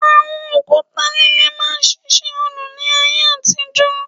Àwọn òkúta líle máa ń ṣiṣẹ́ òòlù ní ayé àtijọ́